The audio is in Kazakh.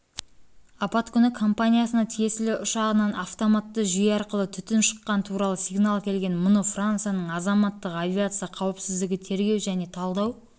апат күні компаниясына тиесілі ұшағынан автоматты жүйе арқылы түтін шыққаны туралы сигнал келген мұны францияның азаматтық авиация қауіпсіздігі тергеу және талдау